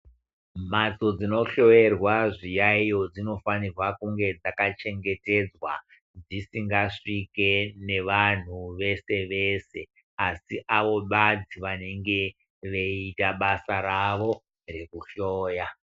Mhatso dzinohloerwa zviyayeyo dzinofanirwa kunge dzakachengetedzwa dzisingasvike nevanhu vese vese asi avo basi vaanenge veiita basa ravo rekuhloya.